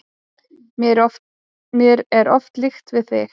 Mér er oft líkt við þig.